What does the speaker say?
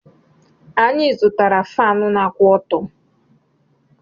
Anyị zụtara Faanụ na-akwụ ọtọ́.